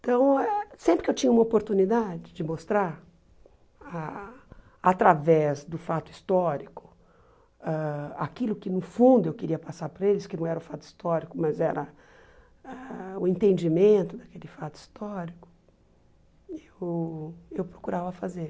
Então, sempre que eu tinha uma oportunidade de mostrar, ah através do fato histórico, ãh aquilo que no fundo eu queria passar para eles, que não era o fato histórico, mas era ah o entendimento daquele fato histórico, eu eu procurava fazer.